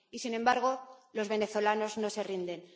Y, sin embargo, los venezolanos no se rinden.